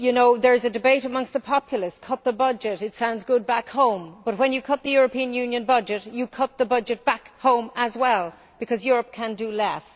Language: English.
There is a debate amongst the populace cut the budget. It sounds good back home, but when you cut the European Union budget, you cut the budget back home too, because Europe can do less.